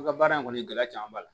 An ka baara in kɔni gɛlɛya caman b'a la